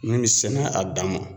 Min bɛ sɛnɛ a dan ma.